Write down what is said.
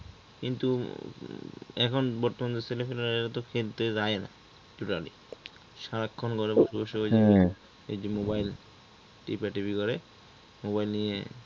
কিন্তু এখন বর্তমানে ছেলেপেলে এরা তো খেলতে যায় না totally সারাক্ষণ ঘরে বসে বসে ওই যে mobile টেপাটিপি করে। mobile নিয়ে হ্যাঁ